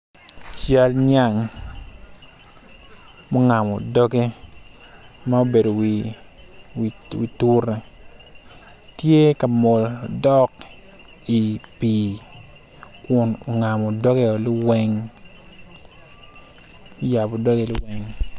Cal nyang ma ongamo doge ma obedo i wi tura tye ongamo doge i pii kun ongamo doge i liweng oyabo doge ni weng.